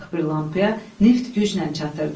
Qırıq bir lampaya neft güclə çatırdı.